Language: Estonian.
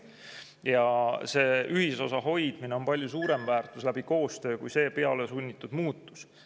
Ühisosa hoidmine koostöös on tegelikult palju suurem väärtus kui selline pealesunnitud muutus.